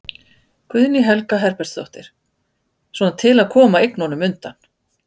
Guðný Helga Herbertsdóttir: Svona til að koma eignum undan?